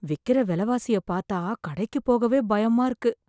விக்கிற விலைவாசிய பார்த்தா கடைக்கு போகவே பயமா இருக்கு